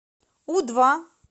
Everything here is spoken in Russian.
у два